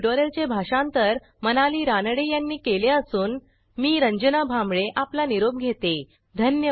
ह्या ट्युटोरियलचे भाषांतर मनाली रानडे यांनी केले असून मी रंजना भांबळे आपला निरोप घेते160